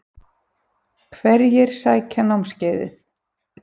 Hverjir sækja námskeiðið?